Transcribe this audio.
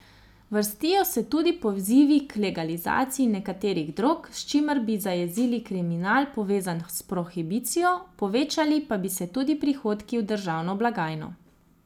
Vrstijo se tudi pozivi k legalizaciji nekaterih drog, s čimer bi zajezili kriminal, povezan s prohibicijo, povečali pa bi se tudi prihodki v državno blagajno.